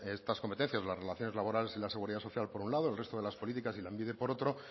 estas competencias las relaciones laborales y la seguridad social por un lado y el resto de las políticas y lanbide por otro